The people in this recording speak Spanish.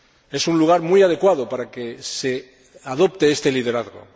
Es un lugar muy adecuado para que se adopte este liderazgo.